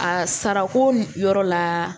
A sarako yɔrɔ la